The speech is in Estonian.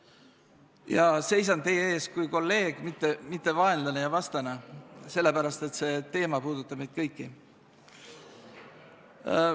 Ja ma seisan teie ees kui kolleeg, mitte kui vaenlane ja vastane, sellepärast et see teema puudutab meid kõiki.